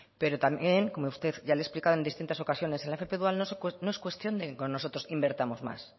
pero también como ya le he explicado en distintas ocasiones en la fp dual no es cuestión de que nosotros invirtamos más